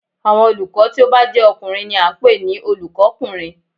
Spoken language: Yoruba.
Àwọn olùkọ́ tí ó bá jé ọkùnrin ni a n pè ní Olùkó kùnrin